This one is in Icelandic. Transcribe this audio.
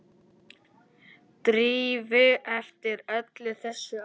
Drífu eftir öll þessi ár.